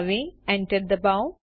હવે એન્ટર ડબાઓ